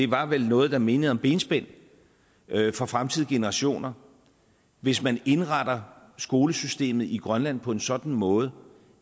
var vel noget der mindede om benspænd for fremtidige generationer hvis man indretter skolesystemet i grønland på en sådan måde